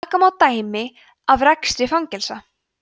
taka má dæmi af rekstri fangelsa